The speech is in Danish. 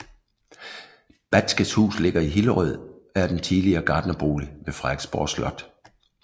Batzkes Hus ligger i Hillerød og er den tidligere gartnerbolig ved Frederiksborg Slot